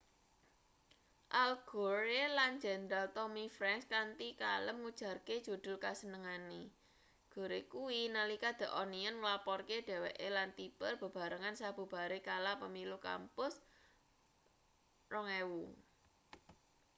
al gore lan jenderal tommy franks kanthi kalem ngujarke judul kasenengane gore kuwi nalika the onion nglaporke dheweke lan tipper bebarengan sabubare kalah pemilu kampus 2000